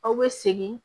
Aw bɛ segin